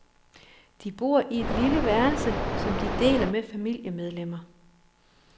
De bor i et lille værelse, som de deler med familiemedlemmmer.